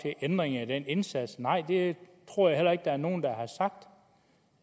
til ændringer af den indsats nej det tror jeg heller ikke der er nogen der har sagt